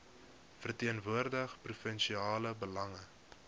verteenwoordig provinsiale belange